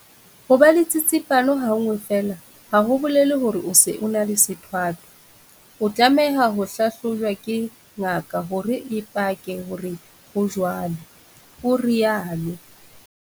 Ho ba le tsitsipano ha nngwe feela ha ho bolele hore o se o na le sethwathwa. O tlameha ho hlahlojwa ke ngaka hore e pake hore ho jwalo, o rialo.